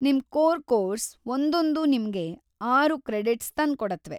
ನಿಮ್‌ core course ಒಂದೊಂದೂ ನಿಮ್ಗೆ ಆರು ಕ್ರೆಡಿಟ್ಸ್ ತಂದ್ಕೊಡತ್ವೆ.